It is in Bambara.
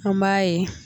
An b'a ye